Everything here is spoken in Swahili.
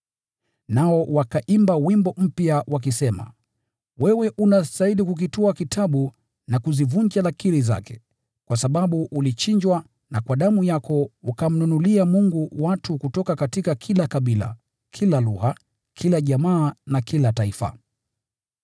Nao wakaimba wimbo mpya, wakisema: “Wewe unastahili kukitwaa kitabu na kuzivunja lakiri zake, kwa sababu ulichinjwa na kwa damu yako ukamnunulia Mungu watu kutoka kila kabila, kila lugha, kila jamaa na kila taifa.